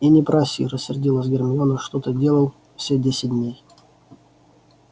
и не проси рассердилась гермиона что ты делал все десять дней